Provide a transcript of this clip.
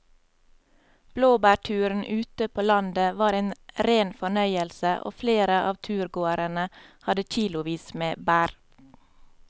Blåbærturen ute på landet var en rein fornøyelse og flere av turgåerene hadde kilosvis med bær.